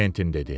Kventin dedi.